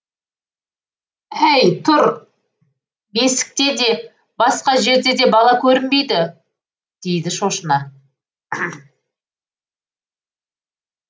әй тұр бесікте де басқа жерде де бала көрінбейді дейді шошына